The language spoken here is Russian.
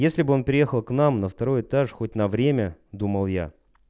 если бы он переехал к нам на второй этаж хоть на время думал я